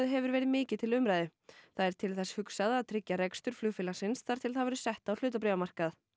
hefur verið mikið til umræðu það er til þess hugsað að tryggja rekstur flugfélagsins þar til það verður sett á hlutabréfamarkað